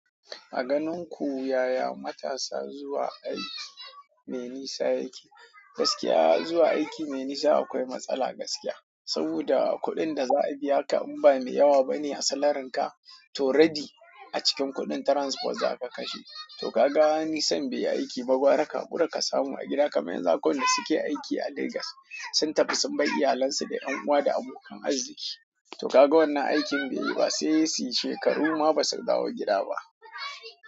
A ganin ku yaya matasa zuwa aiki mai nisa yake? Gaskiya zuwa aiki mai nisa akwai matsala gaskiya. Saboda kuɗin da za a biya ka in ba mai yawa bane a salarin ka to rabi a cikin kuɗin transport za ka kashe. To ka ga nisan bai yi aiki ba, gwara kahakura ka samu a gida kamar yanzu akwai wanda suke aiki a Legas sun tafi sun bar iyalansu da 'yan uwa da abokan arziki. To ka ga wannan aikin bai yi ba sai suyi shekaru ma basu dawo gida ba.